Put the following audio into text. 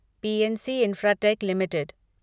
PNC Infratech limited